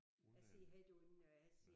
Jeg siger havde du en øh jeg siger